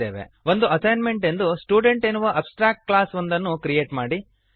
ಒಂದು ಅಸೈನ್ಮೆಂಟ್ ಎಂದು ಸ್ಟುಡೆಂಟ್ ಎನ್ನುವ ಅಬ್ಸ್ಟ್ರ್ಯಾಕ್ಟ್ ಕ್ಲಾಸ್ ಒಂದನ್ನು ಕ್ರಿಯೇಟ್ ಮಾಡಿರಿ